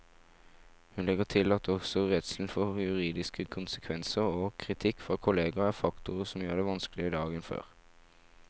Hun legger til at også redselen for juridiske konsekvenser og kritikk fra kolleger er faktorer som gjør det vanskeligere i dag enn før.